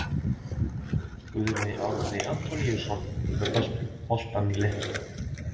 Guðjón Árni Antoníusson með boltann í leiknum.